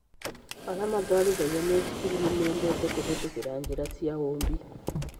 Arĩa matwarithagia mĩithikiri nĩ mendete kũhĩtũkĩra njĩra cia ũũmbi.